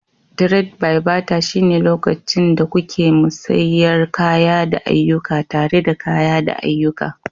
Tred-bai-bata shine lokacin da kuke musayar kaya da ayyuka tare da kaya da ayyuka.